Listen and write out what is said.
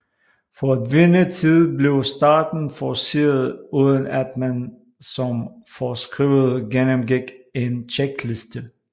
For at vinde tid blev starten forceret uden at man som foreskrevet gennemgik en checkliste